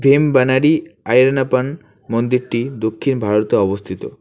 এমবানারি আইয়ারানাপন মন্দিরটি দক্ষিণ ভারতে অবস্থিত।